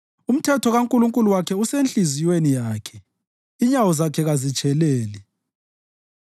Umthetho kaNkulunkulu wakhe usenhliziyweni yakhe; inyawo zakhe kazitsheleli.